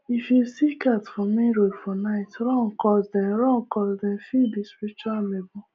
if you see cat for main road for night run coz dem run coz dem fit be spiritual amebor